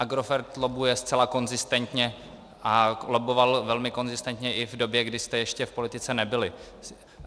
Agrofert lobbuje zcela konzistentně a lobboval velmi konzistentně i v době, kdy jste ještě v politice nebyli.